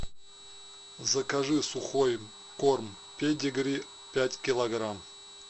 закажи сухой корм педигри пять килограмм